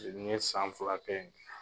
yen, n ye san fil kɛ.